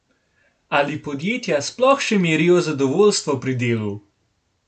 Ali podjetja sploh še merijo zadovoljstvo pri delu?